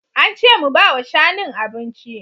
Ance mu bawa shanun abinci